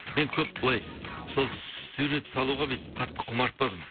енді көп былай сол сурет салуға бүйтіп қатты құмартпадым